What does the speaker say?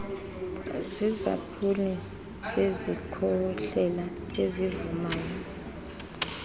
ziisampuli zezikhohlela ezivumayo